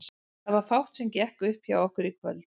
Það var fátt sem gekk upp hjá okkur í kvöld.